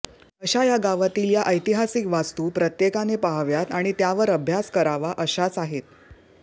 अशा या गावातील या ऐतिहासिक वास्तू प्रत्येकाने पाहाव्यात आणि त्यावर अभ्यास करावा अशाच आहेत